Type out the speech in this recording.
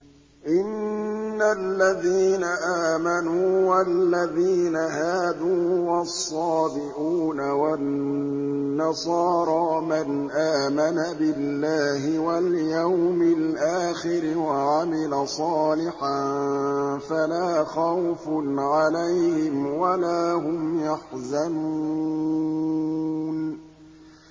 إِنَّ الَّذِينَ آمَنُوا وَالَّذِينَ هَادُوا وَالصَّابِئُونَ وَالنَّصَارَىٰ مَنْ آمَنَ بِاللَّهِ وَالْيَوْمِ الْآخِرِ وَعَمِلَ صَالِحًا فَلَا خَوْفٌ عَلَيْهِمْ وَلَا هُمْ يَحْزَنُونَ